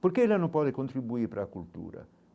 Por que ela não pode contribuir para cultura?